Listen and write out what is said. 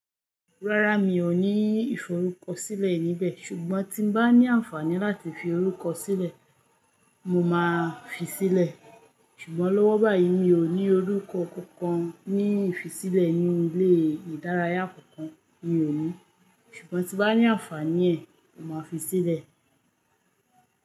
Rárá mi ò ní ìforúkọsílẹ̀ níbẹ̀. Ṣùgbọ́n tí n bá ní ànfàní láti fi orúkọ sílẹ̀, mo máa fi sílẹ̀. Ṣùgbọ́n lọ́wọ́ báyìí mi ò ní orúkọ kankan ní ifisílẹ̀ ní ilé ìdárayá kankan. Mi ò ní. Ṣùgbọ́n tí n bá ní ànfàní ẹ̀, mo máa fi sílẹ̀.